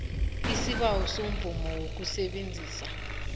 isibawo semvumo yokusebenzisa